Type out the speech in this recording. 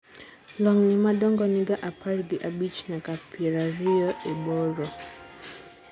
lwang'ni madongo niga apar gi abich nyaka pier ariyo e bor